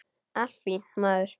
Allt fínt, maður.